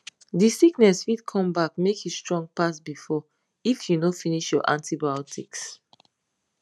the sickness fit come back make e strong pass before if you no finish your antibiotics